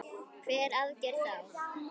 Hverra aðgerða þá?